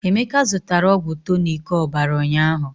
Emeka zụtara ọgwụ tọnic ọbara ụnyaahụ.